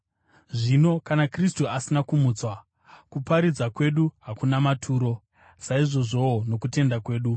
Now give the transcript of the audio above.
Zvino kana Kristu asina kumutswa, kuparidza kwedu hakuna maturo, saizvozvowo nokutenda kwenyu.